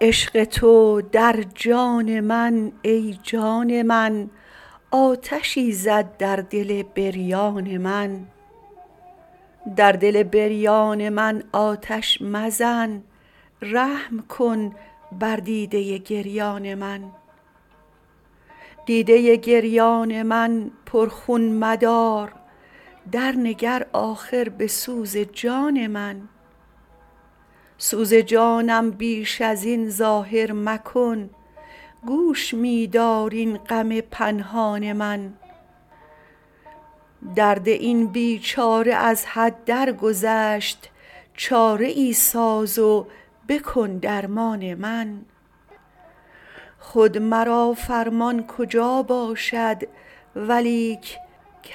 عشق تو در جان من ای جان من آتشی زد در دل بریان من در دل بریان من آتش مزن رحم کن بر دیده گریان من دیده گریان من پرخون مدار در نگر آخر به سوز جان من سوز جانم بیش ازین ظاهر مکن گوش می دار این غم پنهان من درد این بیچاره از حد درگذشت چاره ای ساز و بکن درمان من خود مرا فرمان کجا باشد ولیک